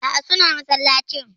Aa, suna masallacin.